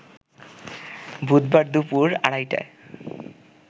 বুধবার দুপুর আড়াইটায়